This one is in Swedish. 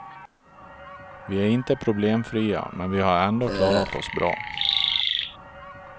Vi är inte problemfria, men vi har ändå klarat oss bra.